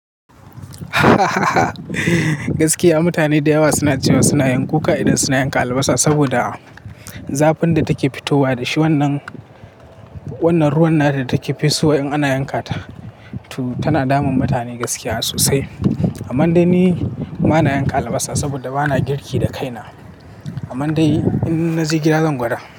Mutane da yawa suna cewa suna yin kuka idan suna yanka albasa, saboda zafin da take fitowa da wannan ruwan nan da take fitowa in ana yanka ta, tana damun mutane gaskiya sosai. Amman dai ni bana yanka albasa saboda bana girki da kaina. Ammann dai in na je gida zan gwada.